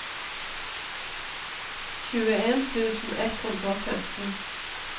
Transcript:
tjueen tusen ett hundre og femten